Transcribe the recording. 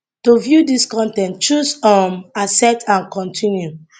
to view dis con ten t choose um accept and continue